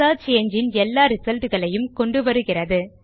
search engine எல்லா result களையும் கொண்டு வருகிறது